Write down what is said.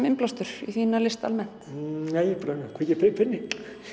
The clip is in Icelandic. innblástur í þína list almennt nei ég bara kveiki á perunni